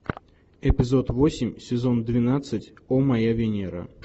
эпизод восемь сезон двенадцать о моя венера